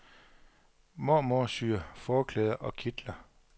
Mormor syr forklæder og kitler.